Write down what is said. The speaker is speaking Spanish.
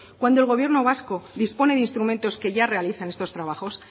cuando el gobierno vasco dispone de instrumentos que ya realizan estos trabajos